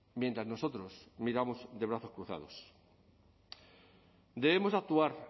mientras nosotros miramos de brazos cruzados debemos actuar